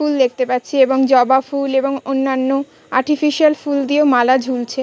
ফুল দেখতে পাচ্ছি এবং জবা ফুল এবং অন্যান্য আর্টিফিশিয়াল ফুল দিয়েও মালা ঝুলছে।